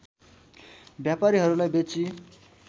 व्यापारीहरूलाई बेची